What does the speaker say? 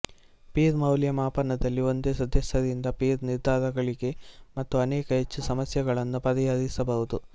peer ಮೌಲ್ಯ ಮಾಪನದಲ್ಲಿ ಒಂದೇ ಸದಸ್ಯರಿಂದ ಪೀರ್ ನಿರ್ಧಾರಗಳಿಗೆ ಮತ್ತು ಅನೇಕ ಹೆಚ್ಚು ಸಮಸ್ಯೆಗಳನ್ನು ಪರಿಹರಿಸಬಹುದು